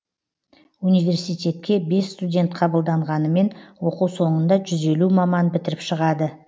университетке бес студент қабылданғанымен оқу соңында жүз елу маман бітіріп шығады